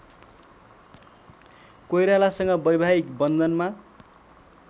कोइरालासँग वैवाहिक बन्धनमा